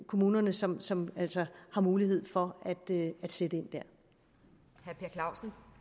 kommunerne som som altså har mulighed for at sætte ind der